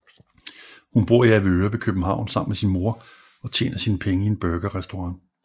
Hun bor i Avedøre ved København sammen med sin mor og tjener sine penge i en burgerrestaurant